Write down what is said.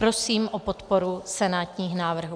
Prosím o podporu senátních návrhů.